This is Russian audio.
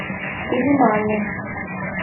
келимане